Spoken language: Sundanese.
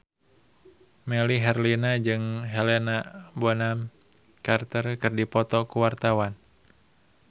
Melly Herlina jeung Helena Bonham Carter keur dipoto ku wartawan